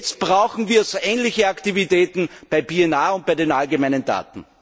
Jetzt brauchen wir so ähnliche Aktivitäten bei PNR und bei den allgemeinen Daten.